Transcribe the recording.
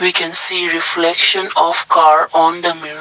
can see reflection of car on the mirror.